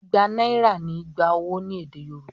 Igba náírà ni "igba owó" ní èdè Yorùbá.